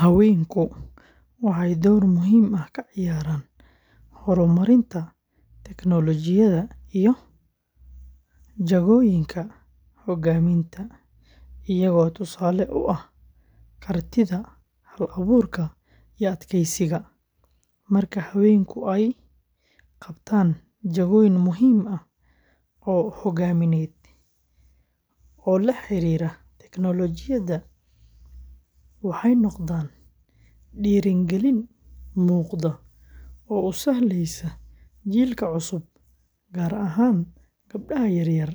Haweenku waxay door muhiim ah ka ciyaaraan horumarinta tignoolajiyada iyo jagooyinka hoggaaminta, iyagoo tusaale u ah kartida, hal-abuurka, iyo adkaysiga. Marka haweenku ay qabtaan jagooyin muhiim ah oo hoggaamineed oo la xiriira tignoolajiyada, waxay noqdaan dhiirigelin muuqata oo u sahlaysa jiilka cusub, gaar ahaan gabdhaha yaryar,